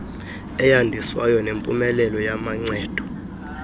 eyandiswayo nempumelelo yamancedo